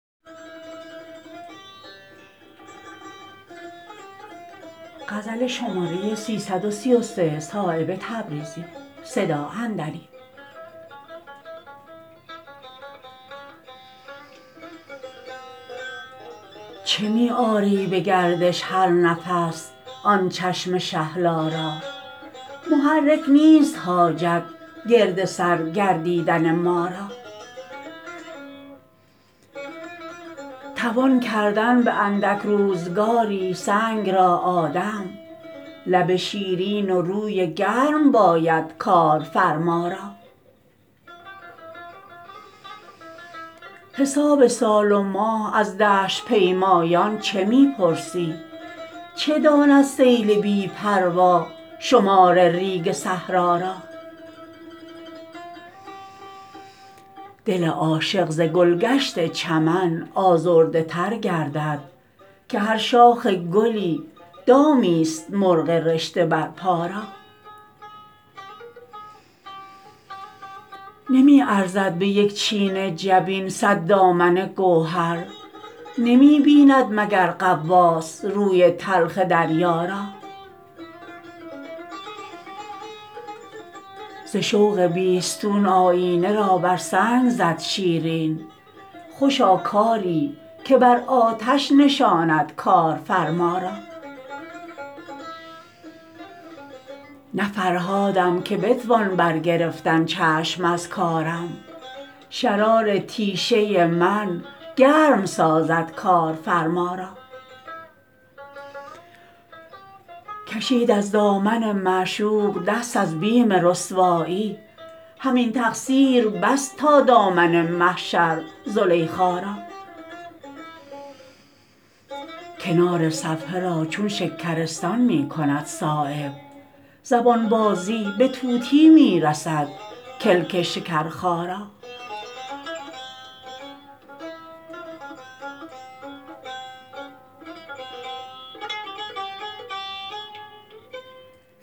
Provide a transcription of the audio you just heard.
چه می آری به گردش هر نفس آن چشم شهلا را محرک نیست حاجت گرد سر گردیدن ما را توان کردن به اندک روزگاری سنگ را آدم لب شیرین و روی گرم باید کارفرما را حساب سال و ماه از دشت پیمایان چه می پرسی چه داند سیل بی پروا شمار ریگ صحرا را دل عاشق ز گلگشت چمن آزرده تر گردد که هر شاخ گلی دامی است مرغ رشته بر پا را نمی ارزد به یک چین جبین صد دامن گوهر نمی بیند مگر غواص روی تلخ دریا را ز شوق بیستون آیینه را بر سنگ زد شیرین خوشا کاری که بر آتش نشاند کارفرما را نه فرهادم که بتوان بر گرفتن چشم از کارم شرار تیشه من گرم سازد کارفرما را کشید از دامن معشوق دست از بیم رسوایی همین تقصیر بس تا دامن محشر زلیخا را کنار صفحه را چون شکرستان می کند صایب زبان بازی به طوطی می رسد کلک شکرخارا